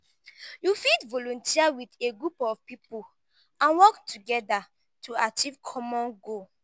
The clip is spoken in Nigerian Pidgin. you fit volunteer with a group of people and work together to achieve common goal.